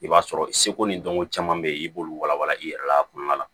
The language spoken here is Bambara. I b'a sɔrɔ seko ni dɔnko caman be yen i b'olu walawala i yɛrɛ la a kɔnɔna la